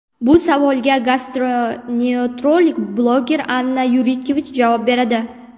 Bu savolga gastroenterolog bloger Anna Yurkevich javob beradi.